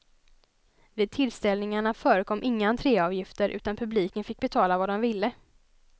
Vid tillställningarna förekom inga entréavgifter utan publiken fick betala vad den ville.